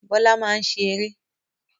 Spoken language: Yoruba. Bọ́lá máa ń ṣe eré.